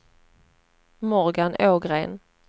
Morgan Ågren